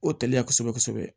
O tali la kosɛbɛ kosɛbɛ